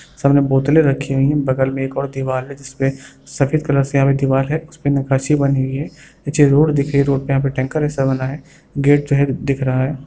सामने बोतले रखी हुई है बगल में एक और दीवार है जिस पे सफेद कलर की दीवाल है उस पर बनी हुई है नीचे रोड दिख रही है रोड पर टैंकर जैसा बना हुआ है गेट जो है दिख रहा है।